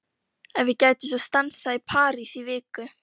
Hvert sem er skal ég fylgja þér.